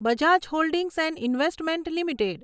Bajaj holdings and investment limited